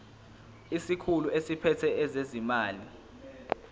isikhulu esiphethe ezezimali